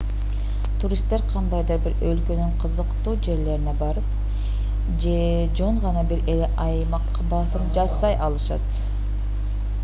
туристтер кандайдыр бир өлкөнүн кызыктуу жерлерине барып же жөн гана бир эле аймакка басым жасай алышат